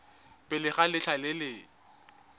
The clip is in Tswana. pele ga letlha le le